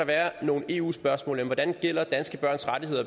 være nogle eu spørgsmål om hvordan danske børns rettigheder